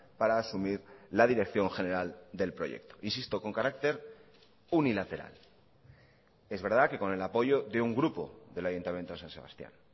para asumir la dirección general del proyecto insisto con carácter unilateral es verdad que con el apoyo de un grupo del ayuntamiento de san sebastián